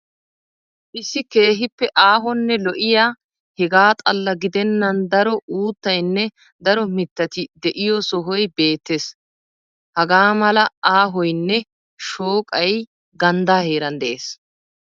Issi keehippe aahonne lo'iya hegaa xalla gidennan daro uuttaynne daro mittati de'iyo sohoy beettees. Hagaa mala aahoynne shooqay ganddaa heeran de'ees.